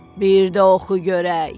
Bir də oxu görək.